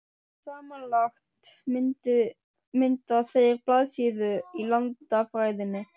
Samanlagt mynda þeir blaðsíðu í landafræðinni.